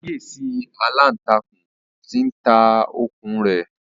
Ṣàkíyèsí aláǹtakùn tí ń ta okùn un rẹ̀!